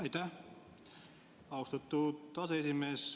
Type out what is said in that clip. Aitäh, austatud aseesimees!